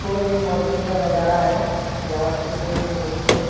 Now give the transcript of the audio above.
कोई एक मंदिर का नजारा है जहां पे कोई एक मूर्ति है।